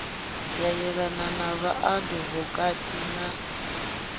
ya yelana na vhaadivokati na